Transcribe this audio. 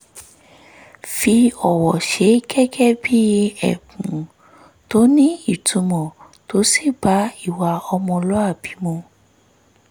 fi ọwọ́ ṣe gẹ́gẹ́ bí ẹ̀bùn tó nítumọ̀ tó sì bá ìwà ọmọlúwàbí mu